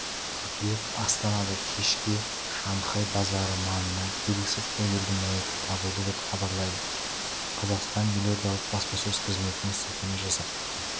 қыркүйек астанада кеше кешке шанхай базары маңынан белгісіз әйелдің мәйіті табылды деп хабарлайды қазақстан елордалық баспасөз қызметіне сілтеме жасап